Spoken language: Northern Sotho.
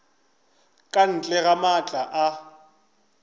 ka ntle ga maatla a